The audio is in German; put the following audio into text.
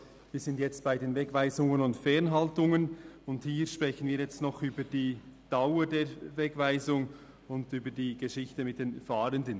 Wir sind jetzt bei den Wegweisungen und Fernhaltungen, und hier sprechen wir jetzt noch über die Dauer der Wegweisung und über die Geschichte mit den Fahrenden.